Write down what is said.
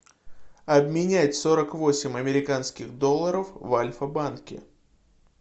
обменять сорок восемь американских долларов в альфа банке